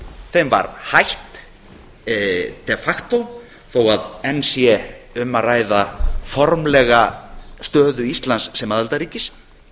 þeim var hætt per facto þó enn sé um að ræða formlega stöðu íslands sem aðildarríkis